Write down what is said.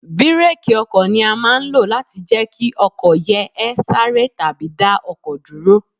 Bireeki ọkọ̀ ni a máa ń lo láti jẹ́ kí ọkọ̀ yè ẹ sáre tàbí dá ọkọ̀ dúró.